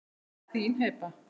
Þín Heba.